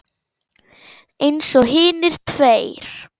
Eins og hinir tveir.